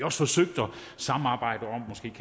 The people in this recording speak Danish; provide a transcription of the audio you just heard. også forsøgt at samarbejde om